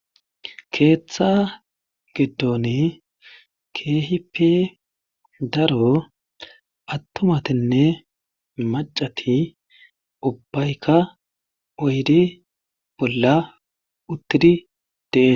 Keeththaa giddoni keehipe daro attumatinne maccati ubbayka oyde bollla uttidi de7eet.